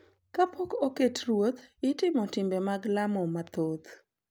Kapok oket ruoth, itimo timbe mag lamo mathoth